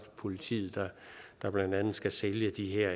politiet der blandt andet skal sælge de her